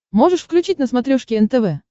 можешь включить на смотрешке нтв